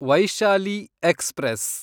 Vaishali express